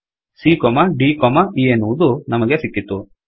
CA ದ್ e ಎನ್ನುವುದು ನಮಗೆ ಸಿಕ್ಕಿತು